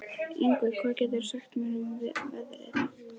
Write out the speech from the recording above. Yngvi, hvað geturðu sagt mér um veðrið?